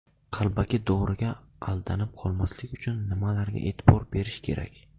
Qalbaki doriga aldanib qolmaslik uchun nimalarga e’tibor berish kerak?.